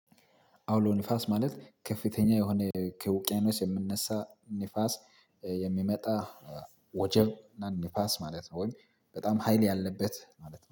አውሎ ንፋስ ማለት ከፍተኛ የሆነ ከውቅያኖስ የሚነሳ ንፋስ የሚመጣ ወጀብ ና ንፋስ ማለት ነው። ወይም በጣም ሀይል ያለበት ማለት ነው